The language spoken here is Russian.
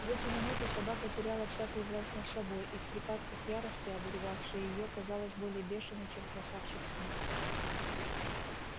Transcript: в эти минуты собака теряла всякую власть над собой и в припадках ярости обуревавшей её казалась более бешеной чем красавчик смит